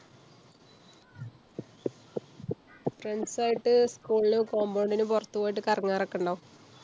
friends ആയിട്ട് school ന് compound ന് പുറത്തു പോയിട്ട് കറങ്ങാറുക്കെണ്ടോ?